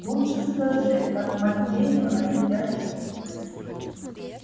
лучше скажи как матвеевна себя чувствует